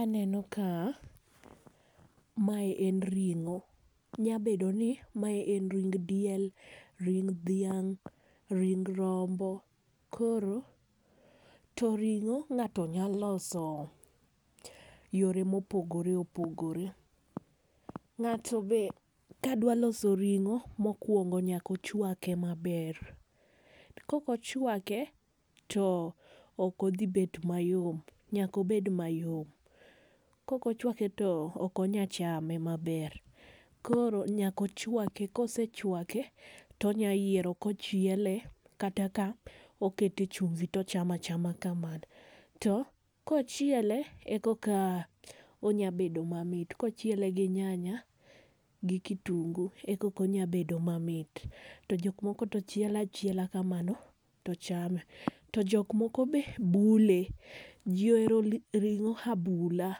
Aneno ka, mae en ring'o. Nya bedo ni, mae en ring diel, ring dhiang', ring rombo. Koro, to ring'o ng'ato nya loso yore mopogoreopogore. Ng'ato be ka dw loso ring'o mokwongo nyaka ochwake maber .Kokochwake, to ok odhi bet mayom, nyaka obed mayom. Kokochwake to ok onya chame maber .Koro nyaka ochwake ,kosechwake, to onya yiero kochiele ,kata ka okete chumvi to ochamachama kamano. To kochiele ,e koka onya bedo mamit, kochiele gi nyanya gi kitunguu e koka onya bedo mamit. To jok moko to chiele achiela kamano to chame. To jok moko be bule, ji ohero ring'o abula,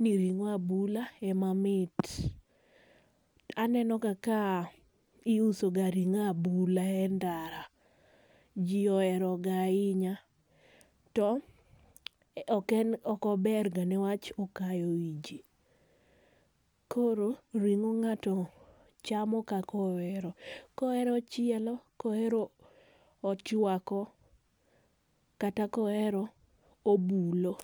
ni ring'o abula ema mit. Anenoga ka iusoga ring'o abula e ndara ,jii oheroga ahinya. To, ok ober ga ne wach okayo ii jii. Koro ,ring'o ng'ato chamo kakohero. Kohero ochielo, kohero ochwako, kata kohero obulo.